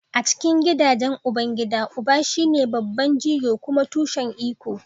A cikin gidajen ubangida, uba shine babban jigo kuma tushen iko.